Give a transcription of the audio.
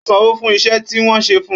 Ó sanwó fún iṣẹ́ tí wọ́n ṣe fun